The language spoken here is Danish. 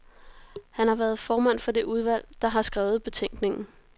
Han har været formand for det udvalg, der har skrevet betænkningen.